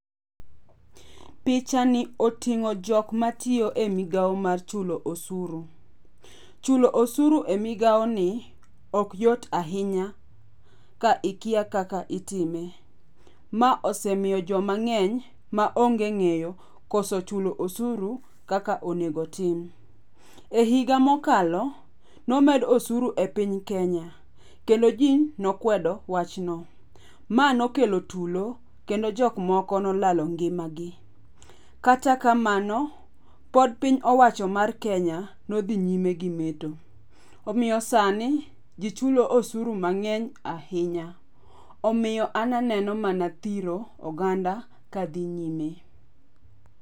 Pichani oting'o jokma tiyo migao mar chulo osuru. Chulo osuru e migao ni okyot ahinya ka ikia kaka itime. Ma osemiyo jomang'eny maonge ng'eyo koso chulo osuru kaka onego tim. E higa mokalo, nomed osuru e piny Kenya kendo ji nokwedo wachno. Ma nokelo tulo kendo jokmoko nolalo ngimagi. Kata kamano, pod piny owacho mar Kenya nodhi nyime gi meto. Omiyo sani ji chulo osuru mang'eny ahinya. Omiyo an aneno mana thiro oganda ka dhi nyime.